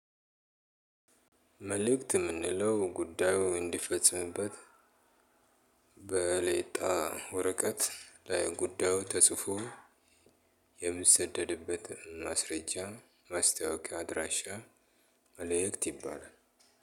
መልእክት የምንለው ጉዳዩ እንዲፈጽምበት በሌጣ ወረቀት ላይ ጉዳዩ ተጽፎ የሚሰደድበት ማስረጃ ማስታወቂያ አድራሻ። መልእክት ይባላል።